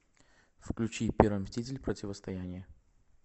включи первый мститель противостояние